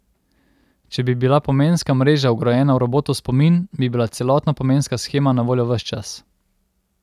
Če bi bila pomenska mreža vgrajena v robotov spomin, bi bila celotna pomenska shema na voljo ves čas.